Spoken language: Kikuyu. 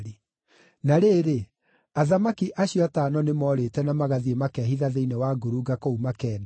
Na rĩrĩ, athamaki acio atano nĩmoorĩte na magathiĩ makehitha thĩinĩ wa ngurunga kũu Makeda.